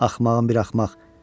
Axmağın bir axmaq.